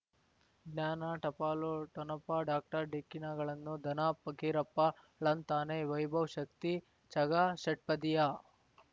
ಜ್ಞಾನ ಟಪಾಲು ಠೊಣಪ ಡಾಕ್ಟರ್ ಢಿಕ್ಕಿ ಣಗಳನು ಧನ ಫಕೀರಪ್ಪ ಳಂತಾನೆ ವೈಭವ್ ಶಕ್ತಿ ಝಗಾ ಷಟ್ಪದಿಯ